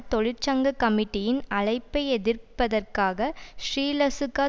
தொழிற்சங்க கமிட்டியின் அழைப்பை எதிர்ப்பதற்காக ஸ்ரீலசுக